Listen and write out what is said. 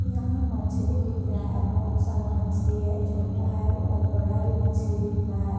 यहाँ मछरी बिक रहा है बहुत सारा मछरी है छोटा है और बड़ा भी मछरी बिक रहा है |